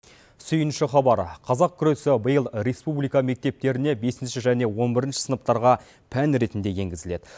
сүйінші хабар қазақ күресі биыл республика мектептеріне бесінші және он бірінші сыныптарға пән ретінде енгізіледі